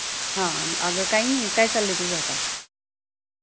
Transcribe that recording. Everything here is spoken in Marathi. हा अगं काय नि काय चाललंय तुझं आता